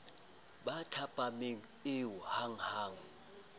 ba thapameng eo ha hanghang